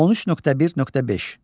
13.1.5.